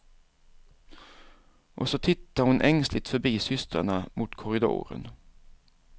Och så tittar hon ängsligt förbi systrarna mot korridoren.